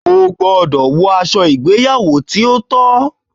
O gbọdọ wọ aṣọ ìgbéyàwò ti o tọ!